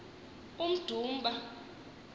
umdumba